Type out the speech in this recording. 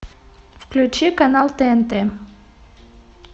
включи канал тнт